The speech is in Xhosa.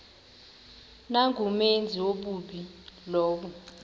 nangumenzi wobubi lowo